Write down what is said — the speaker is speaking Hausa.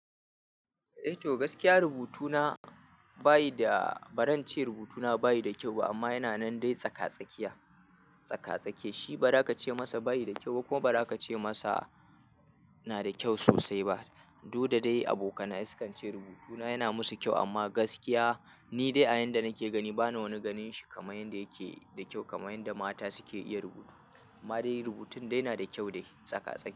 Eh to gaskiya rubutuna bayi da, ba zan ce rubutuna bayi da kyau amma yana nan dai tsaka-tsakiya, tsaka-tsake. Shi ba za ka ce masa bayi da kyau ko ba za ka ce masa na da kyau sosai ba. Du da dai abokana ya sukan ce rubutuna yana musu kyau amma gaskiya ni dai a yanda nake gani bana wani ganin shi kamar yanda yake da kyau kamar yanda mata suke iya rubutu. Ma dai rubutun dai yana da kyau dai tsaka-tsake.